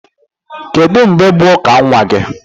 Kedụ mgbe bụ ụka nwa gị?